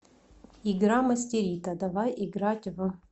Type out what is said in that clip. игра мастерито давай играть в